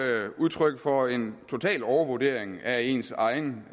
jo udtryk for en total overvurdering af ens egen